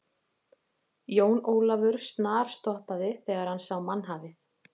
Jón Ólafur snarstoppaði þegar hann sá mannhafið.